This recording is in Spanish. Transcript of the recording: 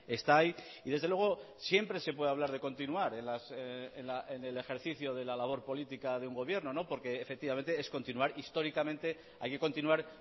está ahí y desde luego siempre se puede hablar de continuar en el ejercicio de la labor política de un gobierno porque efectivamente es continuar históricamente hay que continuar